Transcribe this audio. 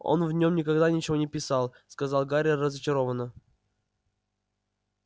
он в нём никогда ничего не писал сказал гарри разочарованно